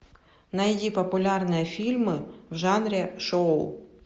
найди популярные фильмы в жанре шоу